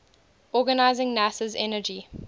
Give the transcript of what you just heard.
organizing nasa's energy